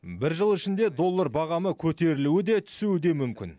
бір жыл ішінде доллар бағамы көтерілуі де түсуі де мүмкін